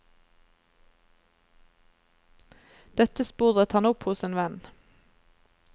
Dette sporet han opp hos en venn.